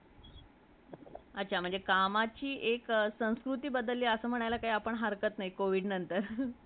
अच्छा ! कमाची म्हणजे एक संस्कृती बदल असे म्हणायला काही हरक्त नाही covid नंतर